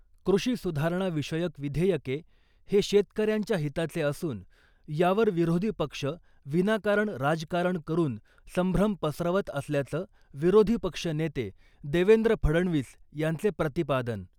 कृषि सुधारणा विषयक विधेयके हे शेतकऱ्यांच्या हिताचे असून , यावर विरोधी पक्ष विनाकारण राजकारण करून संभ्रम पसरवत असल्याचं विरोधीपक्ष नेते देवेंद्र फडणवीस यांचे प्रतिपादन .